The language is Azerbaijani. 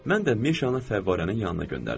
Mən də Meşanı fəvvarənin yanına göndərdim.